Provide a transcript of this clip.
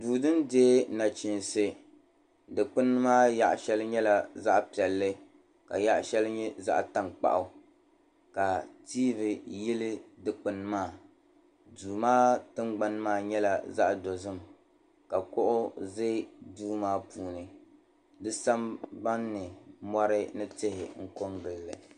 Duu din dihi nachinsi digbuni maa yaɣi shɛli nyɛla zaɣ'piɛlli ka yaɣ'shɛli nyɛ zaɣ'tankpaɣu ka TV yilli dugbuni maa duu maa tingbani maa nyɛla zaɣ'dozim ka kuɣi ʒi duu maa puuni di sambani ni mɔri ni tihi kɔgilli.